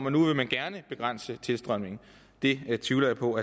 at nu vil man gerne begrænse tilstrømningen det tvivler jeg på